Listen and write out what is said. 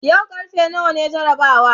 yau karfe nawa ne jarabawar?